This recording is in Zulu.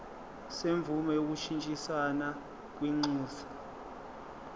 semvume yokushintshisana kwinxusa